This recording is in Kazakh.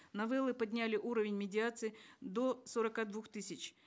новеллы подняли уровень медиации до сорока двух тысяч